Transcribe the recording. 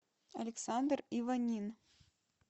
александр иванин